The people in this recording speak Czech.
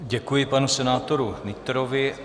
Děkuji panu senátoru Nytrovi.